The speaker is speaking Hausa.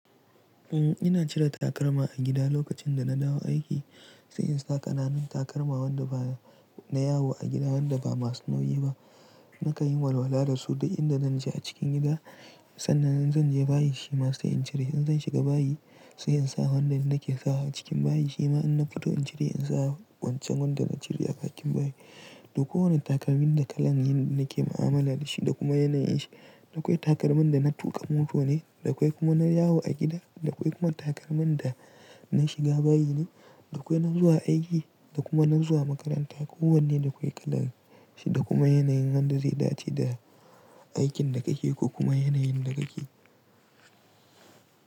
Eh ina cire takalma a gida lokacin da na dawo aiki, sai in sa ƙananan takalma wanda ba, na yawo a gida wanda ba masu nauyi ba. Nakan yi walwala da su duk inda zan je a cikin gida sannan zan je bayi shima sai in cire in zan shiga bayi sai in sa wanda nake sawa a cikin bayi shima in na fito in cire in sa wancan wanda na cire a bakin bayi. Duk kowane takalmin da kalan yin nake mu'amala da shi da kuma yanayin shi. Dakwai takalman da na tuƙa mota ne, dakwai kuma na yawo a gida, dakwai kuma takalman da na shiga bayi ne, dakwai na zuwa aiki da kuma na zuwa makaranta. Kowanne dakwai kalan shi da kuma yanayin wanda zai dace da aikin da kake ko kuma yanayin da kake.